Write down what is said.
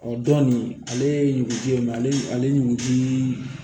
Ɔ dɔn nin ale ye ɲuguti ye ale ɲuguti